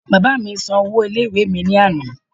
Bàbáa mí san owó ilé ìwé mi ní àná